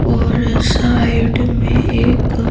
और साइड में एक--